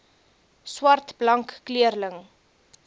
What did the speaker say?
swart blank kleurling